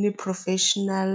ni professional .